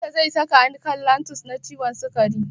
Likita zai saka ni kan lantus na ciwon sikari.